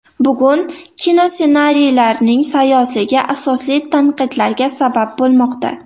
Bugun kinossenariylarning sayozligi asosli tanqidlarga sabab bo‘lmoqda.